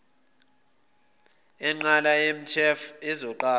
enqala yemtef ezoqala